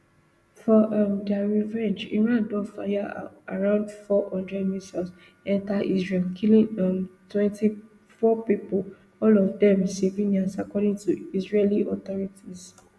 for um dia revenge iran don fire around four hundred missiles enta israel killing um twenty-four pipo all of dem civilians according to israeli authorities